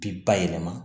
Bi bayɛlɛma